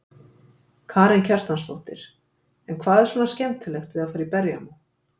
Karen Kjartansdóttir: En hvað er svona skemmtilegt við að fara í berjamó?